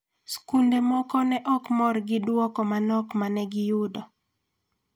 Skunde moko to ne ok mor gi duoko manok ma ne giyudo.